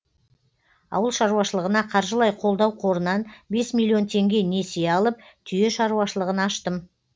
ауыл шаруашылығына қаржылай қолдау қорынан бес миллион теңге несие алып түйе шаруашылығын аштым